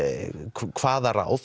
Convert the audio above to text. hvaða ráð